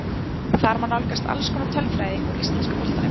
Þar má nálgast alls konar tölfræði úr íslenska boltanum.